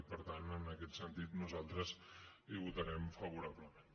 i per tant en aquest sentit nosaltres hi votarem favorablement